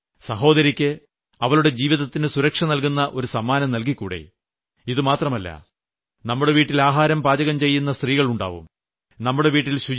ചിന്തിച്ച് നോക്കൂ സഹോദരിയ്ക്ക് അവളുടെ ജീവിതത്തിന് സുരക്ഷ നൽകുന്ന ഒരു സമ്മാനം നൽകിക്കൂടെ ഇത് മാത്രമല്ല നമ്മുടെ വീട്ടിൽ ആഹാരം പാചകം ചെയ്യുന്ന സ്ത്രീകളുണ്ടാവും